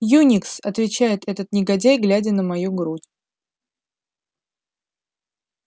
юникс отвечает этот негодяй глядя на мою грудь